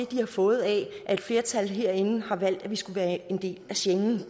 de har fået af at et flertal herinde har valgt at vi skulle være en del af schengen